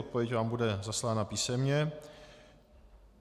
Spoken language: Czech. Odpověď vám bude zaslána písemně.